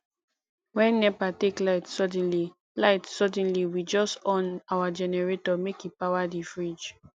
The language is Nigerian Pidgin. wen nepa take light suddenly light suddenly we just on our generator make e power di fridge